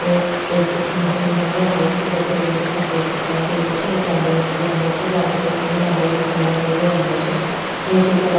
एक ऐ.सी. की मशीन नजर आ री छे जेको रंग सफ़ेद दिखाई दे रेहो छे एक गाड़ी नजर आ री छे गाड़ी को रंग लाल और कालो नजर आ रेहो छे नीचे सड़क --